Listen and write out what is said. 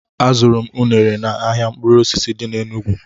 Azụrụ m unere n' ahịa mkpụrụ osisi dị n' Enugwu